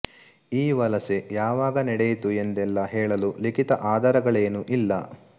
ಈ ವಲಸೆ ಯಾವಾಗ ನಡೆಯಿತು ಎಂದೆಲ್ಲಾ ಹೇಳಲು ಲಿಖಿತ ಆಧಾರಗಳೇನೂ ಇಲ್ಲ